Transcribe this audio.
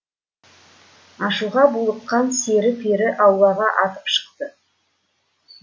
ашуға булыққан сері пері аулаға атып шықты